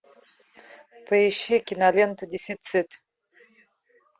поищи киноленту дефицит